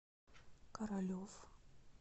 королев